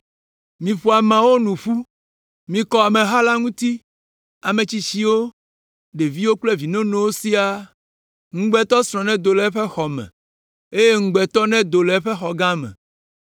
Miƒo ameawo nu ƒu; mikɔ ameha la ŋuti, ame tsitsiwo, ɖeviwo kple vi nonowo siaa. Ŋugbetɔsrɔ̃ nedo tso eƒe xɔ me eye ŋugbetɔ nedo go tso xɔ gã me.